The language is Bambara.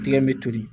Diɲɛ bɛ toli